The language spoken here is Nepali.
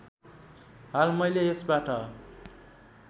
हाल मैले यसबाट